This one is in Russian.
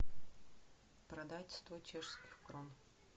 продать сто чешских крон